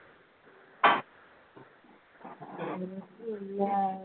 ഇല്ലാ